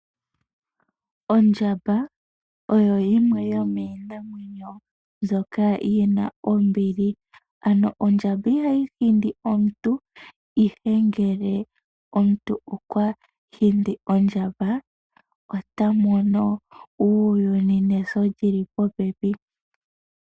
Ondjamba oyo yimwe yomiinamwenyo mbyoka yina ombili. Ondjamba ihayi hindi omuntu ,ihe ngele omuntu okwa hindi ondjamba otamono uuyuni neso lili popepi.